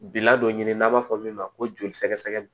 Bila dɔ ɲini n'an b'a fɔ min ma ko joli sɛgɛsɛgɛ